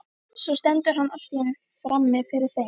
Svo stendur hann allt í einu frammi fyrir þeim.